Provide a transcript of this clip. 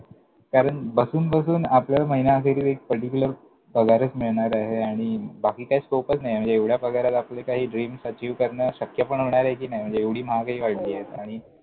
कारण बसून बसून आपल्याला महिना अखेरीस एक particular पगारच मिळणार आहे आणि बाकी काय स्कोपच नाय, म्हणजे या पगारात आपले काही dreams achieve करणं शक्य पण होणारे कि नाय? म्हणजे एवढी महागाई वाढलीये हो आणि